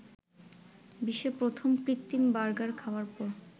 বিশ্বের প্রথম কৃত্রিম বার্গার খাওয়ার পর